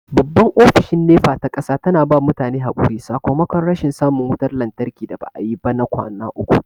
Babban Ofishin NEPA ta ƙasa tana ba mutane haƙuri sakomakon rashin samun wutar lantarki da ba'a yi ba na kwana uku.